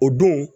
O don